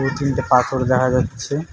দু তিনটে পাথর দেখা যাচ্ছে।